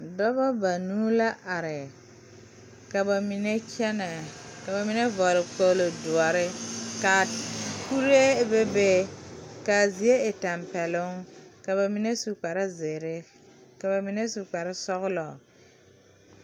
Dɔba banuu la are ka ba mine kyɛnɛ ka ba mine vɔgle kpoglo dɔre ka kuree bebe ka a zie e tampɛloŋ ka ba mine su kparezeere ka ba mine su kparesɔglɔ.